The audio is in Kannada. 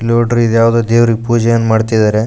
ನೋಡ್ರಿ ಇದ್ಯಾವ್ದೋ ದೇವ್ರಿಗೆ ಪೂಜೆನ್ ಮಾಡ್ತಿದಾರೆ.